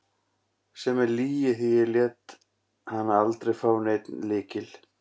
Sem er lygi, því ég lét hana aldrei fá neinn lykil.